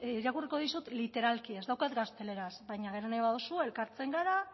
irakurriko dizut literalki ez daukat gazteleraz baina nahi baldin baduzu elkartzen gara